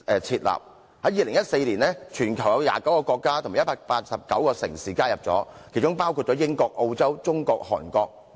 在2014年，全球已有29個國家及189個城市加入這個組織，包括英國、澳洲、中國及韓國。